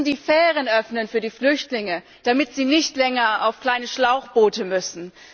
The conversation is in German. Wir müssen die Fähren öffnen für die Flüchtlinge, damit sie nicht länger auf kleine Schlauchboote müssen.